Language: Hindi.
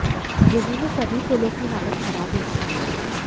जिले में सभी पुलों की हालत खराब हो चुकी है